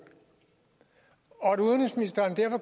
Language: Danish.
og at udenrigsministeren derfor